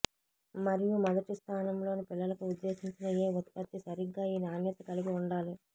మరియు మొదటి స్థానంలో పిల్లలకు ఉద్దేశించిన ఏ ఉత్పత్తి సరిగ్గా ఈ నాణ్యత కలిగి ఉండాలి